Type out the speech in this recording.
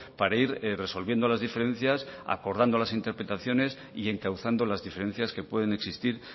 para ir resolviendo las diferencias acordando las interpretaciones y encauzando las diferencias que pueden existir